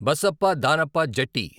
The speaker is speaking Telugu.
బసప్ప దానప్ప జట్టి